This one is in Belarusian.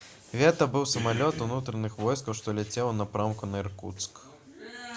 гэта быў самалёт унутраных войскаў што ляцеў у напрамку на іркуцк